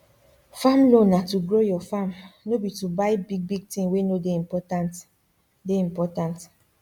farm loan na to grow your farm no be to buy bigbig thing wey no dey important dey important